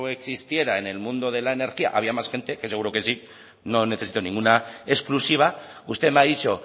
existiera en el mundo de la energía había más gente que seguro que sí no necesito ninguna exclusiva usted me ha dicho